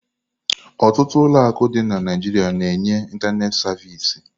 Ọtụtụ ụlọ akụ dị na Naịjirịa na-enye ịntanetị savịsị.